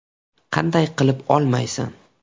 Qanday qilib olmaysan?